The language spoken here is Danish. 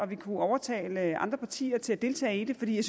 vi kunne overtale andre partier til at deltage i det fordi